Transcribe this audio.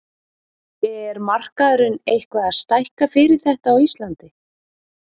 Er markaðurinn eitthvað að stækka fyrir þetta á Íslandi?